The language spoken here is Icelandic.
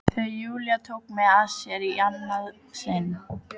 Þegar Júlía tók mig að sér í annað sinn.